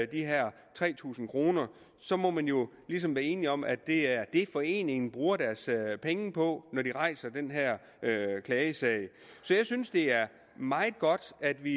de her tre tusind kroner så må man jo ligesom blive enige om at det er det foreningen bruger deres penge på når de rejser den her klagesag så jeg synes det er meget godt at vi